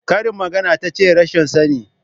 Karin magana tace rashin sani?